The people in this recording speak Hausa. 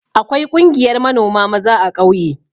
Akwai ƙungiyar manoma maza a ƙauye.